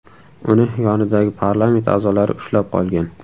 Uni yonidagi parlament a’zolari ushlab qolgan.